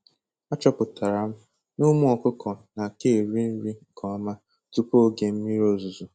Achọpụtara m n'ụmụ ọkụkọ na-aka eri nri nke ọma tupu oge mmiri ozuzo